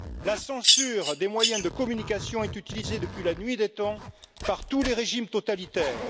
La censure des moyens de communication est utilisée depuis la nuit des temps par tous les régimes totalitaires.